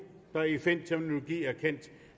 der i fn terminologi er kendt